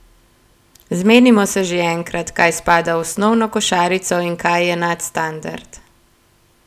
Zmenimo se že enkrat, kaj spada v osnovno košarico in kaj je nadstandard!